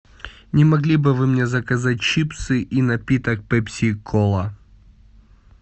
не могли бы вы мне заказать чипсы и напиток пепси кола